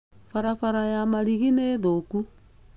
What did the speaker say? Barabara ya Marigĩ nĩ thũku.